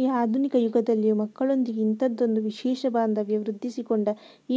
ಈ ಆಧುನಿಕ ಯುಗದಲ್ಲಿಯೂ ಮಕ್ಕಳೊಂದಿಗೆ ಇಂಥದ್ದೊಂದು ವಿಶೇಷ ಬಾಂಧವ್ಯ ವೃದ್ಧಿಸಿಕೊಂಡ